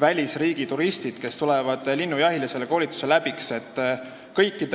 välisturistid, kes tulevad linnujahile, selle koolituse läbi teeksid.